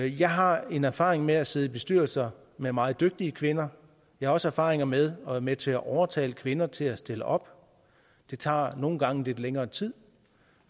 jeg har en erfaring med at sidde i bestyrelser med meget dygtige kvinder jeg har også erfaring med at være med til at overtale kvinder til at stille op det tager nogle gange lidt længere tid